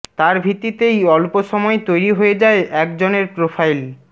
তার ভিত্তিতেই অল্প সময়ে তৈরি হয়ে যায় একজনের প্রোফাইল